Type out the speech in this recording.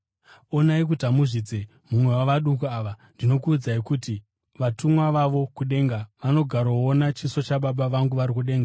“Onai kuti hamuzvidze mumwe wavaduku ava. Ndinokuudzai kuti vatumwa vavo kudenga vanogaroona chiso chaBaba vangu vari kudenga.